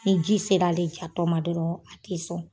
Ni ji ser'ale jato ma dɔrɔn a te sɔn.